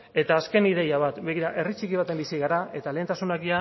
eta azken ideia bat begira herri txiki batean bizi gara eta lehentasunak